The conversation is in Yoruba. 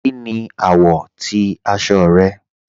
Kíni awọ̀ ti aṣọ rẹ̀?